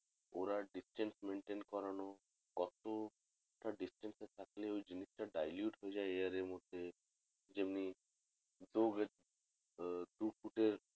ওরা distance maintain করানো কত টা distance এ থাকলে ওই জিনিস টা dilute হয়ে যাই air এর মধ্যে যেমনি দু গে দু ফুট এর